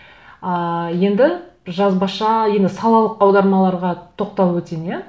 ааа енді жазбаша енді салалық аудармаларға тоқталып өтейін иә